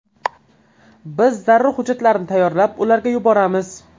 Biz zarur hujjatlarni tayyorlab, ularga yuboramiz.